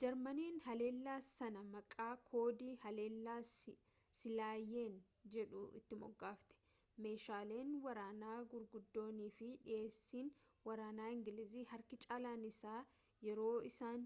jarmaniin haleellaa sana maqaa koodii haleellaa siilaayen jedhu itti moggaafte meeshaaleen waraanaa guguddoonii fi dhiyeessiin waraana ingilizii harki caalaan isaa yeroo isaan